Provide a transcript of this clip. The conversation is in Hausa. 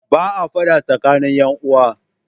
Ba a fada tsakanin ƴan uwa.